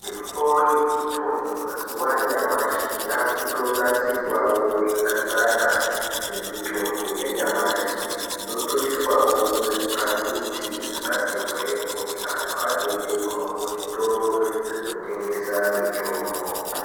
Mitombo yechibhoyi mazuwa yamashi yaakutonasirwawo zvakanaka, semitombo yenyamashi. Inotoiswawo muzviphakiti zvakati hwee, kuti anhu azoitengawo muzvitoro zvinotengesa mitombo.